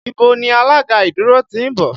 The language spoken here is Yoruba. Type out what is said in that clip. Ibo ni alága ìdúró ti ń bọ̀?